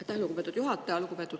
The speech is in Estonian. Aitäh, lugupeetud juhataja!